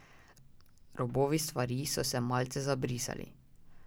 Robovi stvari so se malce zabrisali.